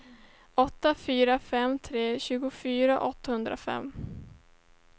åtta fyra fem tre tjugofyra åttahundrafem